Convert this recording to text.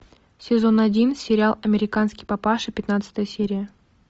сезон один сериал американский папаша пятнадцатая серия